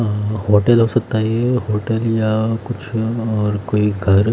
अअ hotel हो सकता है ये होटल या कुछ और कोई घर--